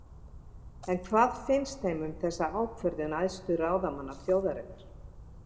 En hvað finnst þeim um þessa ákvörðun æðstu ráðamanna þjóðarinnar?